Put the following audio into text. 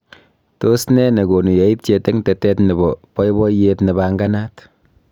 tos ne nekonu yaityet eng tetet nebo boiboyet nebanganat